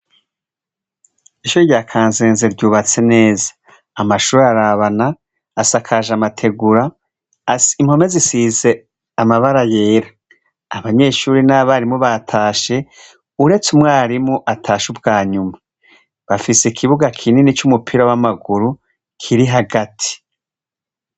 Isho rya kansenze ryubatse neza amashuri arabana asakaje amategura asi imkome zisize amabara yera abanyeshuri n'abarimu batashe uretse umwarimu atashe ubwanyuma bafise ikibuga kinini c'umupira w'amaguru kiri hagati.